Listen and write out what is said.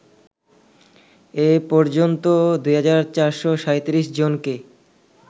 এ পর্যন্ত ২৪৩৭ জনকে